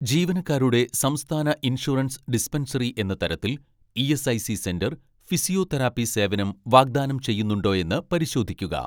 ജീവനക്കാരുടെ സംസ്ഥാന insurance dispensary എന്ന തരത്തിൽ ഇ.എസ്.ഐ.സി സെന്റർ ഫിസിയോതെറാപ്പി സേവനം വാഗ്ദാനം ചെയ്യുന്നുണ്ടോയെന്ന് പരിശോധിക്കുക